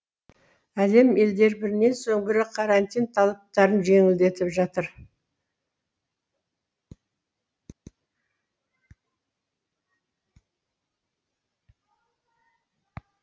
әлем елдері бірінен соң бірі карантин талаптарын жеңілдетіп жатыр